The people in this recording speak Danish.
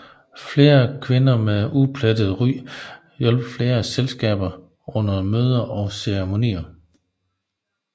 Fire kvinder med et uplettet ry hjalp flere af selskaberne under møder og ceremonier